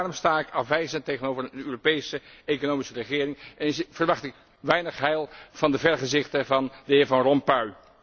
Daarom sta ik afwijzend tegenover een Europese economische regering en verwacht ik weinig heil van de vergezichten van de heer Van Rompuy.